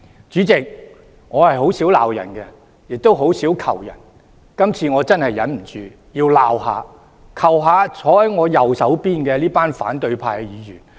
主席，我很少罵人，亦很少求人，今次真的無法忍受，要責罵、請求坐在我右方的反對派議員。